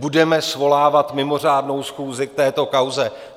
Budeme svolávat mimořádnou schůzi k této kauze?